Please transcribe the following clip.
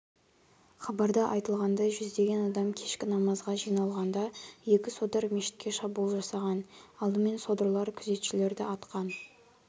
хабарда айтылғандай жүздеген адам кешкі намазға жиналғанда екі содыр мешітке шабуыл жасаған алдымен содырлар күзетшілерді атқан